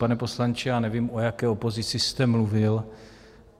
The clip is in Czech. Pane poslanče, já nevím, o jaké opozici jste mluvil.